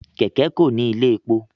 Kẹkẹ Ko ní ilé èpò